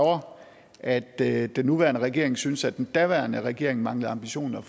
at at den nuværende regering synes at den daværende regering manglede ambitioner